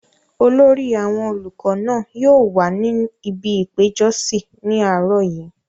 olórí àwọn olùkọ náà yóò wà ní ibi ìpéjọsí ní àárọ̀ yìí